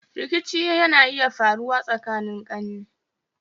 Rikici na iya faruwa tsakanin ƙane